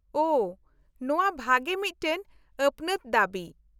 -ᱳᱦᱚ, ᱱᱚᱶᱟ ᱵᱷᱟᱜᱮ ᱢᱤᱫᱴᱟᱝ ᱟᱹᱯᱱᱟᱹᱛ ᱫᱟᱹᱵᱤ ᱾